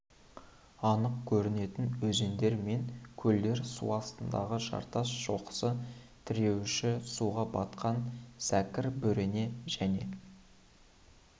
анық көрінетін өзендер мен көлдер су астындағы жартас шоқысы тіреуіші суға батқан зәкір бөрене және